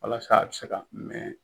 Walasa a bi se ka mɛn.